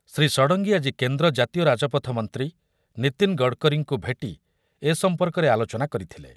ଶ୍ରୀ ଷଡ଼ଙ୍ଗୀ ଆଜି କେନ୍ଦ୍ର ଜାତୀୟ ରାଜପଥ ମନ୍ତ୍ରୀ ନୀତିନ ଗଡ଼କରୀଙ୍କୁ ଭେଟି ଏ ସମ୍ପର୍କରେ ଆଲୋଚନା କରିଥିଲେ ।